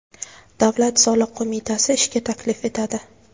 Davlat soliq qo‘mitasi ishga taklif etadi.